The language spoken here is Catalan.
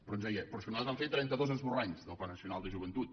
però ens deia però és que nosaltres vam fer trenta dos esborranys del pla nacional de joventut